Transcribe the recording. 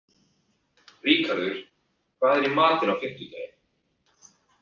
Ríkharður, hvað er í matinn á fimmtudaginn?